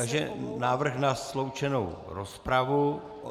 Takže návrh na sloučenou rozpravu.